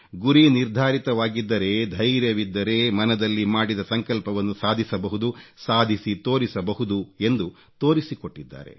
ಗುರಿ ನಿರ್ಧಾರಿತವಾಗಿದ್ದರೆ ಧೈರ್ಯವಿದ್ದರೆ ಮನದಲ್ಲಿ ಮಾಡಿದ ಸಂಕಲ್ಪವನ್ನು ಸಾಧಿಸಬಹುದು ಸಾಧಿಸಿ ತೋರಿಸಬಹುದು ಎಂದು ತೋರಿಸಿಕೊಟ್ಟಿದ್ದಾರೆ